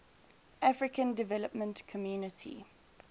african development community